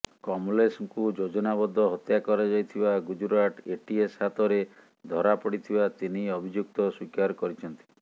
କମଲେଶଙ୍କୁ ଯୋଜନାବଦ୍ଧ ହତ୍ୟା କରାଯାଇଥିବା ଗୁଜରାଟ ଏଟିଏସ୍ ହାତରେ ଧରାପଡ଼ିଥିବା ତିନି ଅଭିଯୁକ୍ତ ସ୍ୱୀକାର କରିଛନ୍ତି